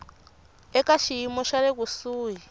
eka xiyimo xa le kusuhi